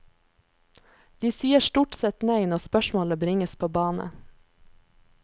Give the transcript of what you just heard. De sier stort sett nei når spørsmålet bringes på bane.